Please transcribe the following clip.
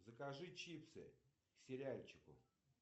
закажи чипсы к сериальчику